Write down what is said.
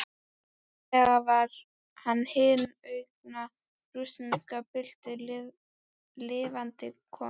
Eiginlega var hann hin unga rússneska bylting lifandi komin.